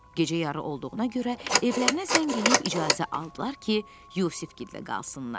Gecə yarı olduğuna görə evlərinə zəng eləyib icazə aldılar ki, Yusif gildə qalsınlar.